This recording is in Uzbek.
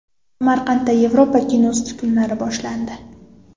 Samarqandda Yevropa kinosi kunlari boshlandi.